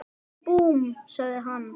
Búmm! sagði hann.